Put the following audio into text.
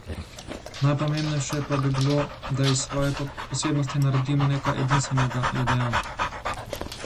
Najpomembnejše pa bi bilo, da iz svoje posebnosti naredimo nekaj edinstvenega, je dejal.